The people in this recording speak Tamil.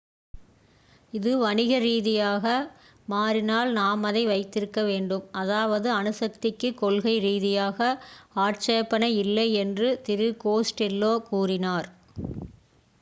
"""இது வணிக ரீதியாக மாறினால் நாம் அதை வைத்திருக்க வேண்டும். அதாவது அணுசக்திக்குக் கொள்கை ரீதியாக ஆட்சேபனை இல்லை "என்று திரு கோஸ்டெல்லோ கூறினார்.